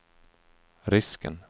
risken